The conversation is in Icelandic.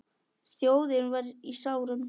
Þjóðin var í sárum.